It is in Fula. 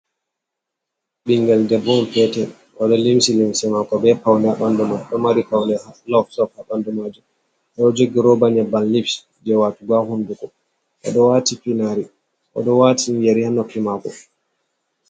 Ɓingel debbo on petel, o ɗo limshi limse mako be paune ha ɓandu mai, o ɗo mari paune be lif-lif ha ɓandu maji, o ɗo jogi roba nyebbam lifs je watugo ha hunduko, o ɗo wati finari, o ɗo watin yari ha nofi mako